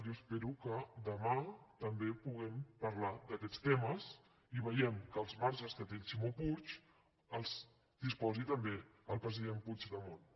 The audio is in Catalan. jo espero que demà també puguem parlar d’aquests temes i vegem que dels marges que té el ximo puig en disposi també el president puigdemont